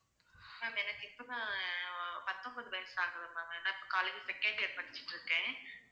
ma'am எனக்கு இப்போதான் ஆஹ் பத்தொண்பது வயசு ஆகுது ma'am ஏன்னா இப்போ college second year படிச்சிட்டு இருக்கேன்